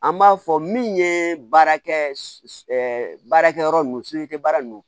An b'a fɔ min ye baarakɛ baarakɛyɔrɔ nunnu baara ninnu